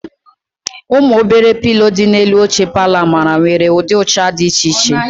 Ụmụ obere pilo dị n'elu oche palọ Amara nwere ụdị ụcha dị iche iche.